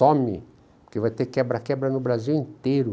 Some, porque vai ter quebra-quebra no Brasil inteiro.